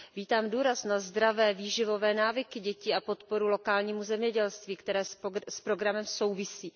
Vítám důraz na zdravé výživové návyky dětí a podporu lokálního zemědělství, které s programem souvisí.